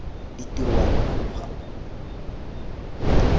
ditiro wa bona mokgwa o